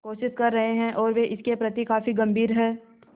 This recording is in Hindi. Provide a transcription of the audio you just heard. कोशिश कर रहे हैं और वे इसके प्रति काफी गंभीर हैं